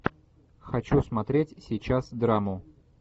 хочу смотреть сейчас драму